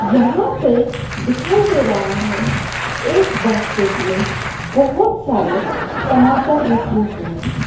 यहां पे दिखाई दे रहा है एक बास्केट में बहुत सारे टमाटर रखे हुए हैं।